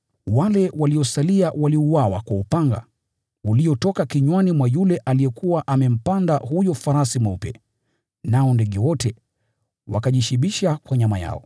Wale waliosalia waliuawa kwa upanga uliotoka kinywani mwa yule aliyekuwa amempanda farasi nao ndege wote wakajishibisha kwa nyama yao.